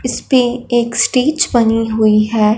इसपे एक स्टेज बनी हुई हैं।